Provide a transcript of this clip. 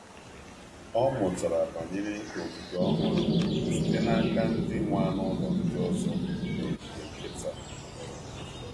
Ọ mụtara banyere ogige um ọhụrụ um site n’aka ndị nwe n’aka ndị nwe anụ ụlọ ndị ọzọ n’ogige nkịta.